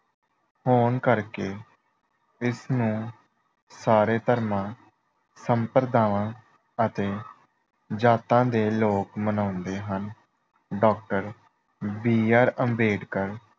ਹੋਣ ਕਰਕੇ ਇਸ ਨੂੰ ਸਾਰੇ ਧਰਮਾਂ, ਸੰਪਰਦਾਵਾਂ ਅਤੇ ਜਾਤਾਂ ਦੇ ਲੋਕ ਮਨਾਉਂਦੇ ਹਨ। Doctor B. ਆਰ. ਅੰਬੇਡਕਰ